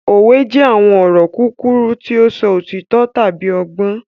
Òwe jẹ àwọn ọ̀rọ̀ kúkúrú ti o sọ òtító tábi ọgbọ́n.